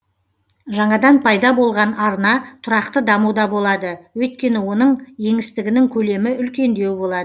жаңадан пайда болған арна тұрақты дамуда болады өйткені оның еңістігінің көлемі үлкендеу болады